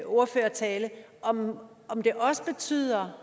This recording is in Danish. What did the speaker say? ordførertale kom ind på om det også betyder